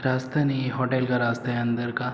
रास्ता नहीं है होटेल का रास्ता है अंदर का।